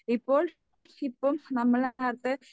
ഇപ്പോൾ ഇപ്പം നമ്മള് നേരത്തെ